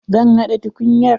Zan haɗa tukunyar.